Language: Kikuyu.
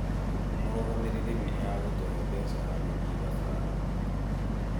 Mũrũgamĩrĩri nĩ agũtũhe mbeca ya gũthii thabarĩ